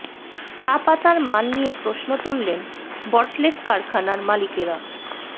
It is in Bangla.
চা পাতার মান নিয়ে প্রশ্ন তুললেন বটলিফ কারখানার মালিকেরা